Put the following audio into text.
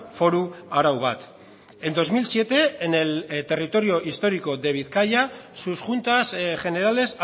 foru arau bat en dos mil siete en el territorio histórico de bizkaia sus juntas generales